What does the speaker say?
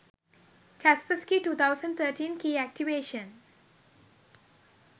kaspersky 2013 key activation